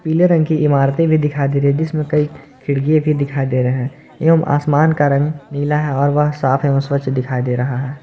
पीले रंग की इमारतें भी दिखाई दे रही है जिसमें कई खिड़की भी दिखाई दे रहे हैं एवं आसमान का रंग नीला है और वह साफ है और स्वच्छ दिखाई दे रहा है।